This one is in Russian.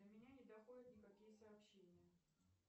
до меня не доходят никакие сообщения